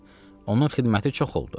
Xeyr, onun xidməti çox oldu.